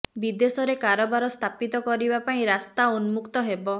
ବିଦେଶରେ କାରବାର ସ୍ଥାପିତ କରିବା ପାଇଁ ରାସ୍ତା ଉନ୍ମୁକ୍ତ ହେବ